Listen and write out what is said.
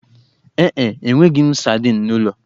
Ee e, enweghị m sadin n'ụlọ